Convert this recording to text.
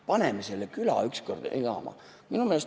Paneme selle küla ükskord elama!